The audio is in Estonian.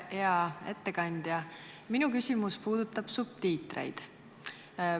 Hea ettekandja, minu küsimus puudutab subtiitreid.